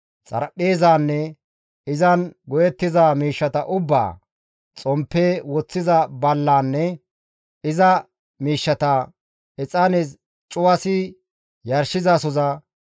xaraphpheezanne izan go7ettiza miishshata ubbaa, xomppe woththiza ballaanne iza miishshata, exaane cuwasi yarshizasoza,